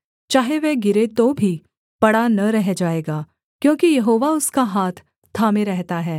चाहे वह गिरे तो भी पड़ा न रह जाएगा क्योंकि यहोवा उसका हाथ थामे रहता है